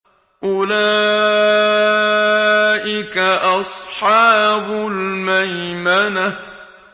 أُولَٰئِكَ أَصْحَابُ الْمَيْمَنَةِ